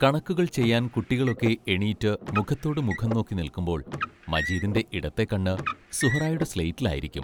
കണക്കുകൾ ചെയ്യാൻ കുട്ടികളൊക്കെ എണീറ്റ് മുഖത്തോടുമുഖം നോക്കി നിൽക്കുമ്പോൾ മജീദിന്റെ ഇടത്തെ കണ്ണ് സുഹ്റായുടെ സ്ലേറ്റിൽ ആയിരിക്കും.